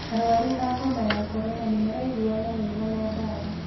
Arwaru a homa ya korona nĩmaraiguana wega na dawa